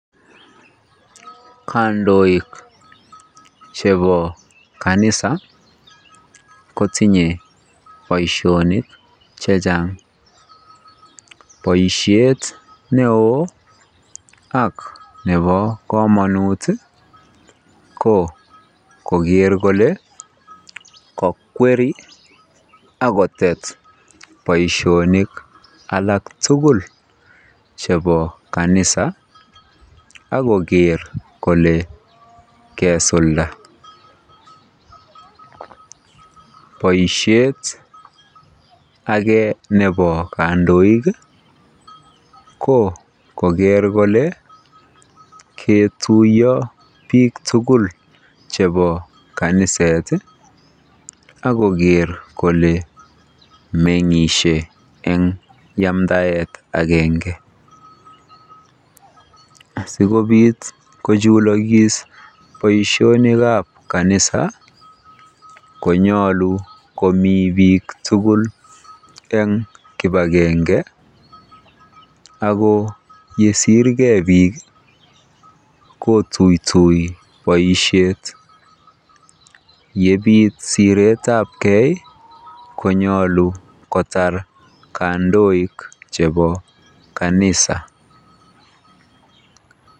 Kandoik chepo kanisa kotinyei boisionik chechang', boisiet neo ak nepo komanut ko koger kole kakweri akotet boisionik alak tugul chepo kanisa akoker kole kesulda, boisiet age nepo kandoik ko koger kole ketuyo piik tugul chepo kaniset akoker kole meng'ishe eng yamdaet agenge asikopit kochulokis boisionik ab kanisa konyalu komii piik tugul eng' kipagenge akoyesirgei piik kotuytoi boisiet yepit siret ab kei konyalu kotar kandoik chepo kanisa.